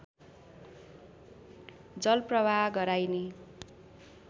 जल प्रवाह गराइने